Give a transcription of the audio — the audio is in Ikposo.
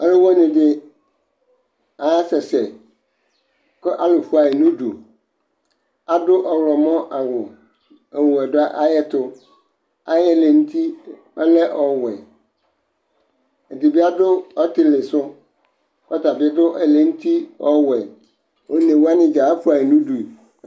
Ɔlʋwɩnɩ dɩ asɛsɛ, kʋ alʋ fʋa yɩ nʋ udu, adʋ ɔɣlɔmɔ awʋ, ɔwɛ dʋ ayɛtʋ, ayʋ ɛlɛ nʋ uti, ɔlɛ ɔwɛ, ɛdɩ bɩ adʋ ɔtɩlɩ sʋ, kʋ ɔta bɩ adʋ ɛlɛ nʋ uti ɔwɛ, one wanɩ dza afʋa yɩ nʋ udu